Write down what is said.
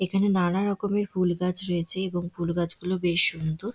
এখানে নানা রকমের ফুল গাছ রয়েছে এবং ফুল গাছগুলো বেশ সুন্দর ।